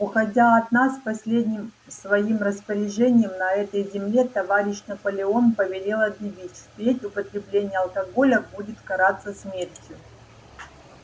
уходя от нас последним своим распоряжением на этой земле товарищ наполеон повелел объявить впредь употребление алкоголя будет караться смертью